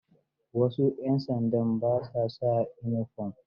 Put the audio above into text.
Wasu 'yan sandan ba sa sa inifom.